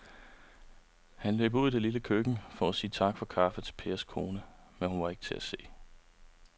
Han løb ud i det lille køkken for at sige tak for kaffe til Pers kone, men hun var ikke til at se.